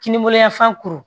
Kininbolo yanfan kuru